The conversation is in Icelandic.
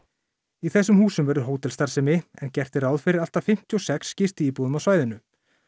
í þessum húsum verður hótelstarfsemi en gert er ráð fyrir allt að fimmtíu og sex gistiíbúðum á svæðinu